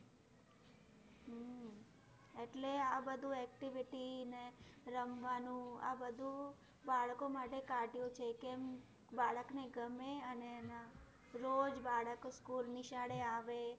એટલે આ બધું activity, ને રમવાનું બાળકો માટે કાઢ્યું છે કેમ? બાળકને ગમે અને રોજ બાળકો, school નિશાળે આવે.